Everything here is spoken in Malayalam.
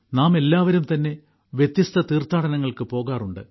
നാമെല്ലാവരും തന്നെ വ്യത്യസ്ത തീർത്ഥാടനങ്ങൾക്ക് പോകാറുണ്ട്